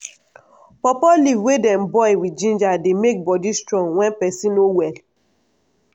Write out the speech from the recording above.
pawpaw leaf wey dem boil with ginger dey make body strong wen peson no well.